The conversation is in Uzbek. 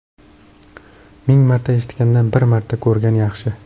Ming marta eshitgandan, bir marta ko‘rgan yaxshi.